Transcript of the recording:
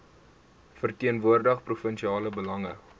verteenwoordig provinsiale belange